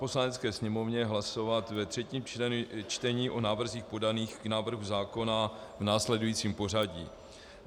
Poslanecké sněmovně hlasovat ve třetím čtení o návrzích podaných k návrhu zákona v následujícím pořadí.